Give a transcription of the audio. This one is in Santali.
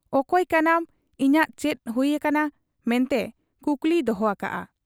ᱚᱠᱚᱭ ᱠᱟᱱᱟᱢ, ᱤᱧᱟᱜ ᱪᱮᱫ ᱦᱩᱭ ᱟᱠᱟᱱᱟ' ᱢᱮᱱᱛᱮ ᱠᱩᱠᱞᱤᱭ ᱫᱚᱦᱚ ᱟᱠᱟᱜ ᱟ ᱾